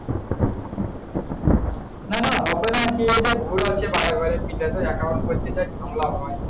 না না হবে কি ওটা ভুল হচ্ছে বারে বারে। বিকাশে account করতে যা ঝামেলা হয়।